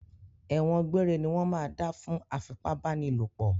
Ẹ̀wọ̀n gbére ní wọ́n máa dá fún afipábánilòpọ̀